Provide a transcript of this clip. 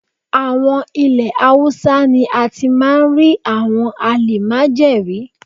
Àwọn ilẹ̀ Haúsá ni a ti máa rí àwọn àlìmájèrí.